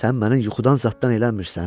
Sən məni yuxudan zad eləmirsən?